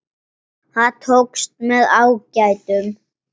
Það tókst með ágætum.